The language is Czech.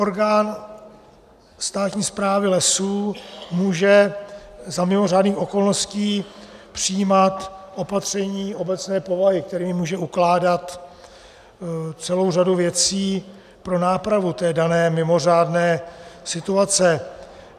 Orgán státní správy lesů může za mimořádných okolností přijímat opatření obecné povahy, kterými může ukládat celou řadu věcí pro nápravu té dané mimořádné situace.